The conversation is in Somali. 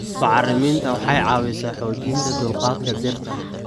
Bacriminta waxay caawisaa xoojinta dulqaadka dhirta.